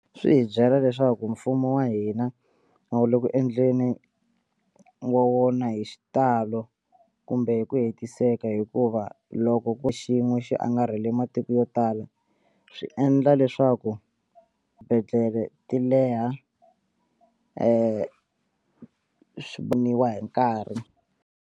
Swi hi byela leswaku mfumo wa hina a wu le ku endleni wa wona hi xitalo kumbe hi ku hetiseka hikuva loko ko xin'we xi angarhele matiko yo tala swi endla leswaku swibedhlele ti leha swi voniwa hi nkarhi.